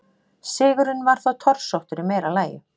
Sigurinn var þó torsóttur í meira lagi.